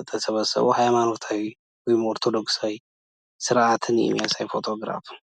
የተሰበሰቡ ሃይማኖታዊ ወይ ኦርቶዶክሳዊ ስርአትን የሚያሳይ ፎቶግራፍ ነው።